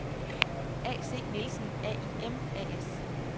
AC Nielsen AIM A/S